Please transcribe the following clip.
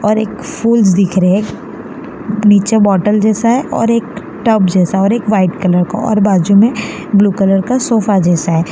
और एक फूज दिख रहे नीचे बॉटल जैसा है और एक टब जैसा और एक वाइट कलर का और बाजू में ब्लू कलर का सोफा जैसा है।